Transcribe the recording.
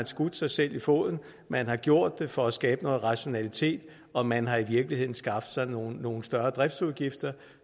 skudt sig selv i foden man har gjort det for at skabe noget rationalitet og man har i virkeligheden skaffet sig nogle nogle større driftsudgifter